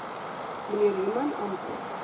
mnr human antwoord